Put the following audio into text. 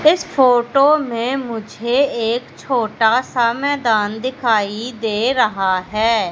इस फोटो में मुझे एक छोटा सा मैदान दिखाई दे रहा है।